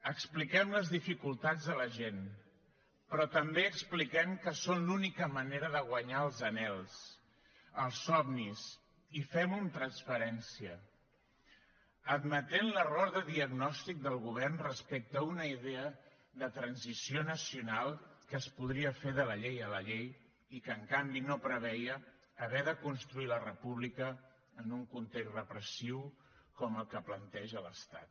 expliquem les dificultats a la gent però també expliquem que són l’única manera de guanyar els anhels els somnis i fem ho amb transparència admetent l’error de diagnosi del govern respecte a una idea de transició nacional que es podria fer de la llei a la llei i que en canvi no preveia haver de construir la república en un context repressiu com el que planteja l’estat